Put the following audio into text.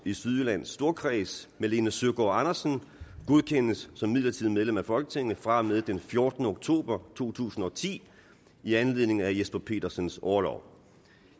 i sydjyllands storkreds malene søgaard andersen godkendes som midlertidigt medlem af folketinget fra og med den fjortende oktober to tusind og ti i anledning af jesper petersens orlov